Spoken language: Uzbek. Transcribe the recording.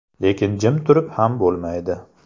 Lekin jim turib ham bo‘lmaydi.